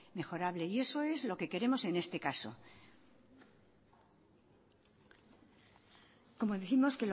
mejorable y eso es lo que queremos en este caso como décimos